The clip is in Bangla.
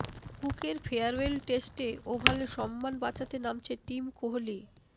কুকের ফেয়ারওয়েল টেস্টে ওভালে সম্মান বাঁচাতে নামছে টিম কোহলি